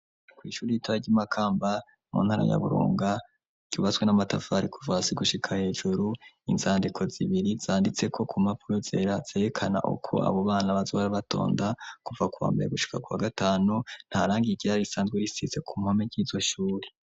Kw'ishuri ritara ry'imakamba mu ntaranyaburunga ryubaswe n'amatavari kuvasi gushika hejuru inzandiko zibiri zanditseko ku mapuro zera zerekana ukwo abo bana bazwara batonda kuva kubambera gushika kwa gatanu ntarangiye igirari risanzwe risize ku mpome ny'izo shuri.